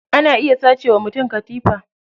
Ana iya sace wa mutum katifa.